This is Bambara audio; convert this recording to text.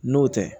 N'o tɛ